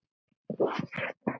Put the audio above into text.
Hvað heitir húsið?